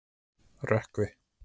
Rökkvi